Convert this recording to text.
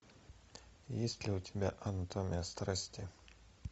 есть ли у тебя анатомия страсти